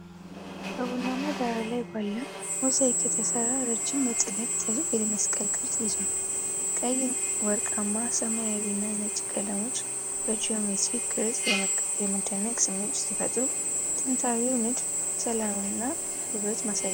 በቡናማ ዳራ ላይ ባለ ሞዛይክ የተሰራ ረጅም የጥለት ጥልፍ የመስቀል ቅርጽ ይዟል። ቀይ፣ ወርቃማ፣ ሰማያዊና ነጭ ቀለሞች በጂኦሜትሪክ ቅርጽ የመደነቅ ስሜት ሲፈጥሩ፣ ጥንታዊው ንድፍ የሰላም እና ውበት ማሳያ ነው።